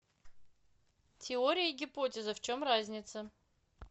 теория и гипотеза в чем разница